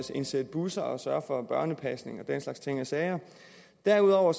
indsætte busser sørge for børnepasning og den slags ting og sager derudover